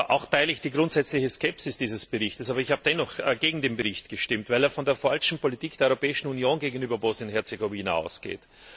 Auch teile ich die grundsätzliche Skepsis dieses Berichtes. Aber ich habe dennoch gegen den Bericht gestimmt, weil er von der falschen Politik der Europäischen Union gegenüber Bosnien und Herzegowina ausgeht.